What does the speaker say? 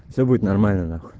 всё будет нормально нахуй